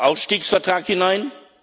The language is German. Ausstiegsvertrag hinein.